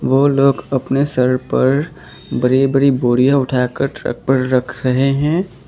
ओ लोग अपने सर पर बरी बरी बोरियां उठा कर ट्रक पर रख रहे हैं।